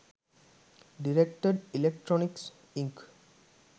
directed electronics ink